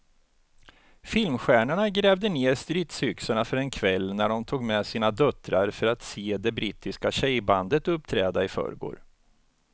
Filmstjärnorna grävde ned stridsyxorna för en kväll när de tog med sina döttrar för att se det brittiska tjejbandet uppträda i förrgår.